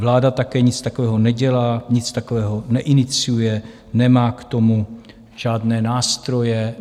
Vláda také nic takového nedělá, nic takového neiniciuje, nemá k tomu žádné nástroje.